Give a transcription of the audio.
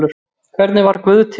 Hvernig varð guð til?